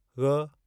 ग़